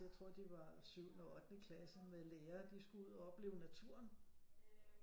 Jeg tror de var syvende ottende klasse med lærere de skulle ud og opleve naturen